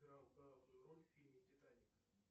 играл главную роль в фильме титаник